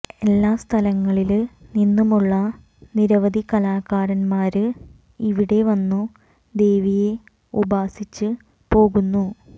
എല്ലാ സ്ഥലങ്ങളില് നിന്നുമുള്ള നിരവധി കലാകാരന്മാര് ഇവിടെ വന്നു ദേവിയെ ഉപാസിച്ച് പോകുന്നു